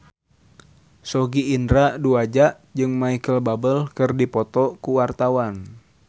Sogi Indra Duaja jeung Micheal Bubble keur dipoto ku wartawan